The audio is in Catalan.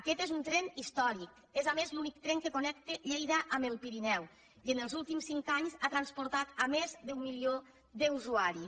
aquest és un tren històric és a més l’únic tren que connecta lleida amb el pirineu i en els últims cinc anys ha transportat més d’un milió d’usuaris